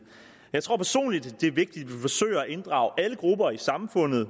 jeg tror personligt det er vigtigt vi forsøger at inddrage alle grupper i samfundet i